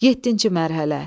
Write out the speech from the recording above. Yeddinci mərhələ.